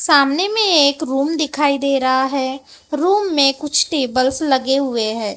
सामने में एक रूम दिखाई दे रहा है रूम में कुछ टेबल्स लगे हुए हैं।